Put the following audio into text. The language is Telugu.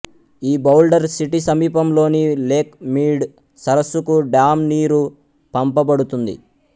ఈ బౌల్డర్ సిటీ సమీపంలోని లేక్ మీడ్ సరస్సుకు డామ్ నీరు పంపబడుతుంది